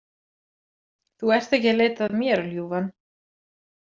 Þú ert ekki að leita að mér, ljúfan.